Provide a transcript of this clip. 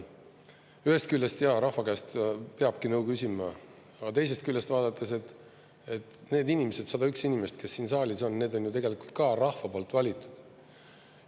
Ühest küljest, jaa, rahva käest peabki nõu küsima, aga teisest küljest vaadates, need inimesed, 101 inimest, kes siin saalis on, need on ju tegelikult ka rahva poolt valitud.